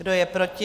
Kdo je proti?